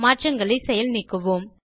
மாற்றங்களை செயல் நீக்குவோம்